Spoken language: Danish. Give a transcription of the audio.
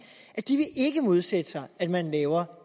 at de ikke vil modsætte sig at man laver